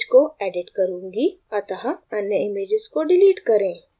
अतः अन्य images को डिलीट करें